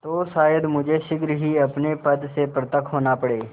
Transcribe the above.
तो शायद मुझे शीघ्र ही अपने पद से पृथक होना पड़े